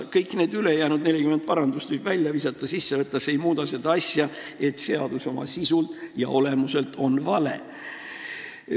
Kõik need ülejäänud 40 parandust võib välja visata või sisse võtta – see ei muuda tõsiasja, et seadus oma sisult ja olemuselt on vale.